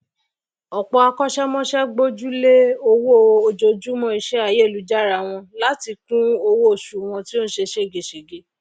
òpò akósémọsé gbójúlé owó ojojúmó isé ayélujára wọn láti kún owó osù wọn tí ó se ségesège